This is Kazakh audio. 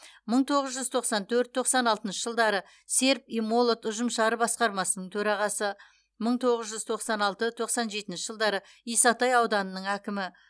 мың тоғыз жүз тоқсан төрт тоқсан алтыншы жылдары серп и молот ұжымшары басқармасының төрағасы мың тоғыз жүз тоқсан алты тоқсан жетінші жылдары исатай ауданының әкімі